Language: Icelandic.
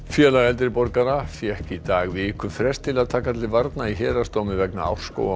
félag eldri borgara fékk í dag vikufrest til að taka til varna í héraðsdómi vegna